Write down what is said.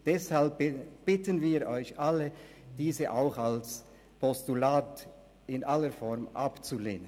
Deshalb bitten wir Sie alle, diese Motion auch als Postulat in aller Form abzulehnen.